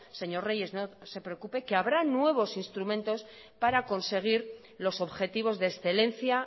señor reyes no se preocupe que habrá nuevos instrumentos para conseguir los objetivos de excelencia